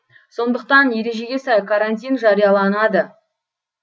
сондықтан ережеге сай карантин жарияланады